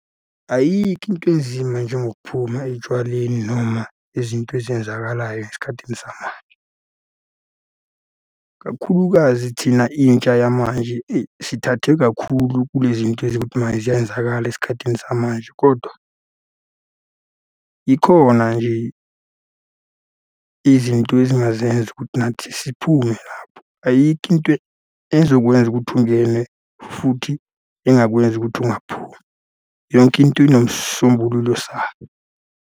Ayikho into enzima njengokuphuma etshwaleni noma izinto ezenzakalayo esikhathini samanje. Kakhulukazi thina intsha yamanje eyi, sithathe kakhulu kule zinto ezokuthi mayizenzakala esikhathini samanje, kodwa ikhona nje izinto ezingazenza ukuthi nathi siphume lapho. Ayikho into ezokwenza ukuthi ungene futhi engakwenza ukuthi ungaphumi. Yonke into inesisombululo sayo.